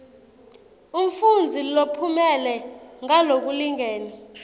umfundzi lophumelele ngalokulingene